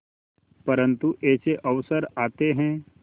परंतु ऐसे अवसर आते हैं